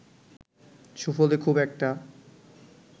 সুফলে খুব একটা